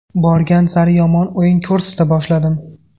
Borgan sari yomon o‘yin ko‘rsata boshladim.